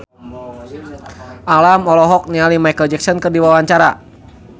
Alam olohok ningali Micheal Jackson keur diwawancara